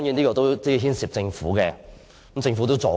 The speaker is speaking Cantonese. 這當然牽涉政府，政府也有"助攻"。